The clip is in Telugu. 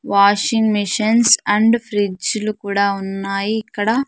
వాషింగ్ మిషన్స్ అండ్ ఫ్రిడ్జ్ లు కూడా ఉన్నాయి ఇక్కడ.